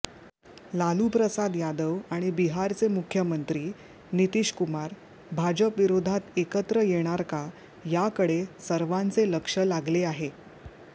लालूप्रसाद यादव आणि बिहारचे मुख्यमंत्री नितीशकुमार भाजपविरोधात एकत्र येणार का याकडे सर्वांचे लक्ष लागले आहे